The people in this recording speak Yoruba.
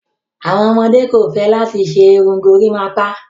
Awọn ọmọde kò fẹ́ látì ṣè irùn górimápá.